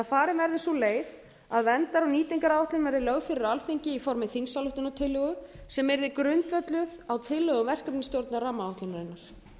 farin verði sú leið að verndar og nýtingaráætlun verði lögð fyrir alþingi í formi þingsályktunartillögu sem yrði grundvölluð á tillögum verkefnisstjórnar rammaáætlunarinnar